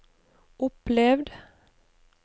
opplevd